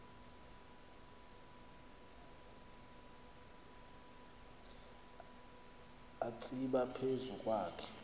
atsiba phezu kwakhe